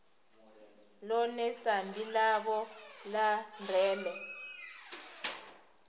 ḽone sambi ḽavho ḽa ndeme